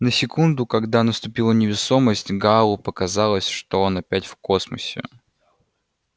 на секунду когда наступила невесомость гаалу показалось что он опять в космосе